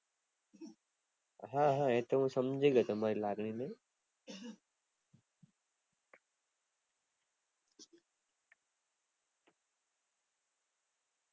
હા હા એતો હું સમજી ગયો તમારી લાગણી ને